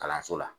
Kalanso la